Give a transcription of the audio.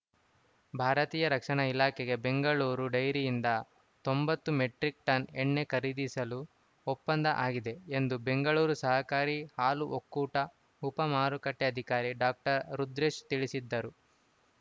ಭಾರತೀಯ ರಕ್ಷಣಾ ಇಲಾಖೆಗೆ ಬೆಂಗಳೂರು ಡೈರಿಯಿಂದ ತೊಂಬತ್ತು ಮೆಟ್ರಿಕ್‌ ಟನ್‌ ಎಣ್ಣೆ ಖರೀದಿಸಲು ಒಪ್ಪಂದ ಆಗಿದೆ ಎಂದು ಬೆಂಗಳೂರು ಸಹಕಾರಿ ಹಾಲು ಒಕ್ಕೂಟ ಉಪ ಮಾರುಕಟ್ಟೆಅಧಿಕಾರಿ ಡಾಕ್ಟರ್ ರುದ್ರೇಶ್‌ ತಿಳಿಸಿದರು